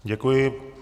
Děkuji.